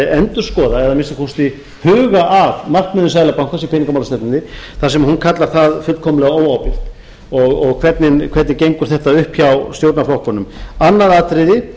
endurskoða eða að minnsta kosti huga að markmiðum seðlabankans í peningamálastefnunni þar sem hún kallar það fullkomlega óábyrgt og hvernig gengur þetta upp hjá stjórnarflokkunum annað atriði